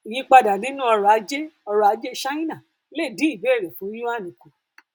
ìyípadà nínú ọrọ ajé ọrọ ajé ṣáínà lè dín ìbéèrè fún yuan kùn